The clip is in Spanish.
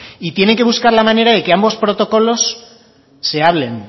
y tiene que buscar la manera de que ambos protocolos se hablen